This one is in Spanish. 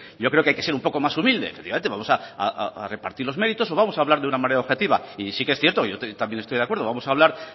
yo creo que hay ser un poco más humilde efectivamente vamos a repartir los méritos no vamos a hablar de manera objetiva y sí que es cierto yo también estoy de acuerdo vamos a hablar